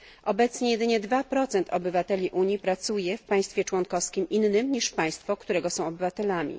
Obecnie jedynie 2 obywateli Unii pracuje w państwie członkowskim innym niż państwo, którego są obywatelami.